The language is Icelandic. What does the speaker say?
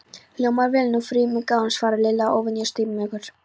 Hljómar vel, frú mín góð svaraði Lilli, óvenju stimamjúkur.